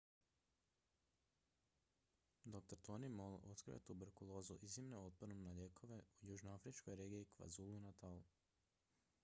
dr. tony moll otkrio je tuberkulozu iznimno otpornu na lijekove xdr-tb u južnoafričkoj regiji kwazulu-natal